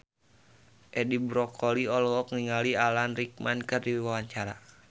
Edi Brokoli olohok ningali Alan Rickman keur diwawancara